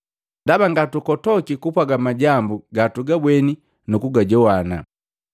Ndaba ngatukotoki kupwaga majambu gatugabweni nukugajogwana.”